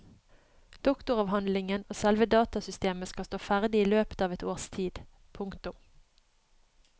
Doktoravhandlingen og selve datasystemet skal stå ferdig i løpet av et års tid. punktum